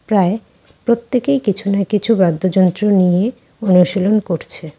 প্রায় প্রত্যেকেই কিছু না কিছু বাদ্যযন্ত্র নিয়ে অনুশীলন করছে।